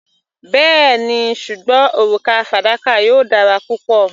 Bẹ́ẹ̀ni, ṣùgbọ́n òrùka fadakà yóò dára pẹ̀lú.